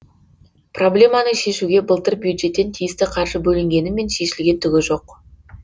проблеманы шешуге былтыр бюджеттен тиісті қаржы бөлінгенімен шешілген түгі жоқ